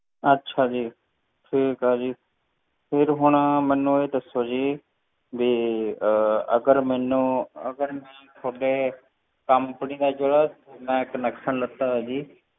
ਅੱਛਾ ਜੀ, ਠੀਕ ਹੈ ਜੀ ਫਿਰ ਹੁਣ ਮੈਨੂੰ ਇਹ ਦੱਸੋ ਜੀ ਵੀ ਅਹ ਅਗਰ ਮੈਨੂੰ ਅਗਰ ਮੈਂ ਤੁਹਾਡੇ company ਦਾ ਜਿਹੜਾ ਮੈਂ connection ਲਿੱਤਾ ਹੈ ਜੀ